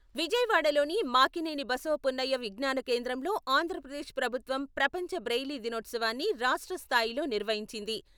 విజయవాడలోని మాకినేని బసవపున్నయ్య విజ్ఞాన కేంద్రంలో అంధ్రప్రదేశ్ ప్రభుత్వం ప్రపంచ బ్రెయిలీ దినోత్సవాన్ని రాష్ట్ర స్థాయిలో నిర్వహించింది.